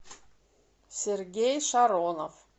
сергей шаронов